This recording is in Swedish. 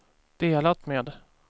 delat med